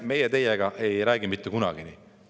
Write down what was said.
Meie teiega ei räägi mitte kunagi nii.